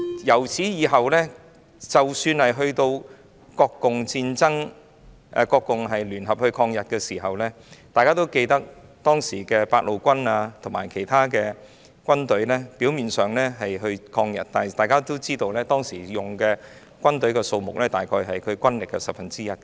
自此以後，即使是在國共聯合抗日時，當時的八路軍及其他軍隊表面上是一同抗日，但大家也知道，當時的軍隊數目只是軍力約十分之一。